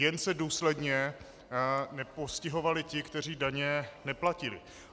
Jen se důsledně nepostihovali ti, kteří daně neplatili.